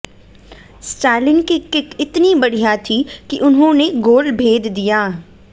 Stalin की kick इतनी बढिय़ा थी कि उन्होंने गोल भेद दिया